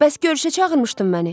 Bəs görüşə çağırmışdın məni.